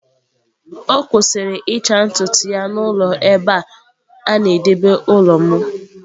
Ọ kwụsịrị ịcha ntutu ya n'ụlọ ebe a na-edebe ụlọ m.